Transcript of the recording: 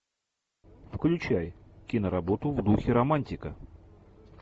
включай киноработу в духе романтика